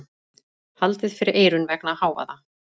Haldið fyrir eyrun vegna hávaða.